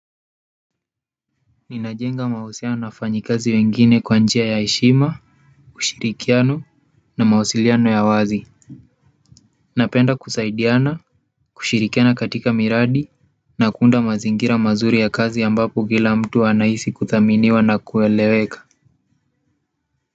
Ninajenga mahusiano na wafanyi kazi wengine kwa njia ya heshima ushirikiano na mawasiliano ya wazi napenda kusaidiana kushirikiana katika miradi na kuunda mazingira mazuri ya kazi ambapo kila mtu anahisi kudhaminiwa na kueleweka.